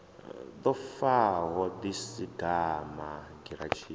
ḓo faho ḓi sagani giratshini